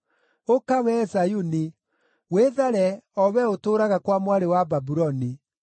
“Ũka, wee Zayuni! Wĩthare, o wee ũtũũraga kwa Mwarĩ wa Babuloni!”